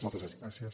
moltes gràcies